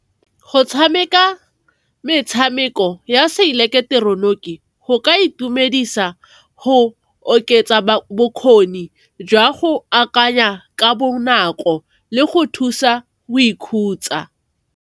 Go tshameka metshameko ya se ileketeroniki go ka itumedisa, go oketsa bokgoni jwa go akanya ka bonako le go thusa o ikhutsa.